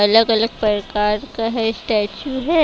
अलग-अलग प्रकार का है स्टैचू है।